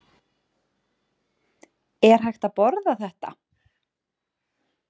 Er hægt að borða þetta?